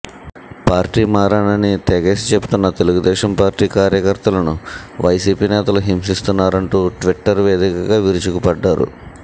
పార్టీమారనని తెగేసి చెప్తున్న తెలుగుదేశం పార్టీ కార్యకర్తలను వైసీపీ నేతలు హింసిస్తున్నారంటూ ట్విట్టర్ వేదికగా విరుచుకుపడ్డారు